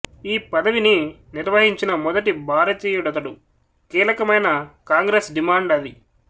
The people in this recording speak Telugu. ఈ పదవిని నిర్వహించిన మొదటి భారతీయుడతడు కీలకమైన కాంగ్రెస్ డిమాండది